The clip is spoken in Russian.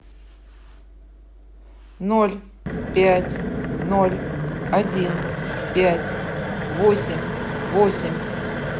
ноль пять ноль один пять восемь восемь